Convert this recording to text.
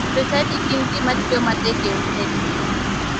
Jochadi gin ji matiyo matek e utegi.